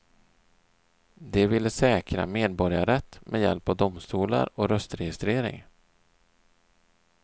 De ville säkra medborgarrätt med hjälp av domstolar och röstregistrering.